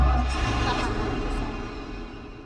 Taman ak tisap.